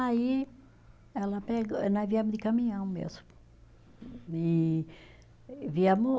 Aí ela pegou, nós viemos de caminhão mesmo, e viemos